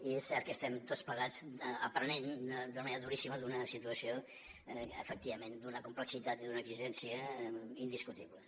i és cert que n’estem tots plegats aprenent d’una manera duríssima en una situació efectivament d’una complexitat i d’una exigència indiscutibles